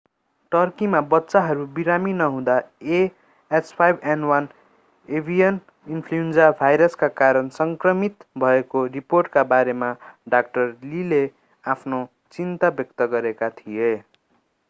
टर्कीमा बच्चाहरू बिरामी नहुँदा a h5n1 एभिएन इन्फ्लूएन्जा भाइरसका कारण सङ्क्रमित भएको रिपोर्टका बारेमा डा लीले आफ्नो चिन्ता व्यक्त गरेका थिए।